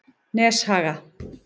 Neshaga